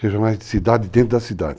Regionais de cidade dentro da cidade.